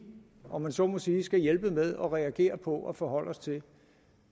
om man så må sige skal hjælpe med og reagere på og forholde os til